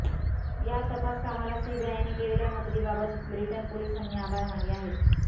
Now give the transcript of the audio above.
या तपास कामाला सीबीआयने केलेल्या मदतीबाबत ब्रिटन पोलिसांनी आभार मानले आहेत